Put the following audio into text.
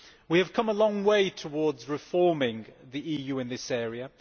We have come a long way towards reforming the EU in this area.